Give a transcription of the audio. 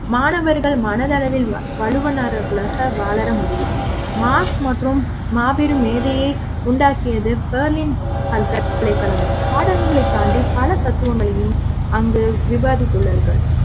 மாணவர்கள் மனதளவில் வள்லுனர்களாக மாற முடியும் மார்க்ஸ் மற்றும் மாபெரும் மேதையை உண்டாக்கியது பெர்லின் பல்கலைக்கழகம் பாடங்களைக் தாண்டி பலத்த தத்துவங்களையும் அங்கு விவாதித்துள்ளார்கள்